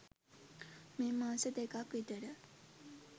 මේ මාස දෙකක් විතර